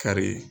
Kari